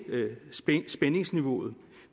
spændingsniveauet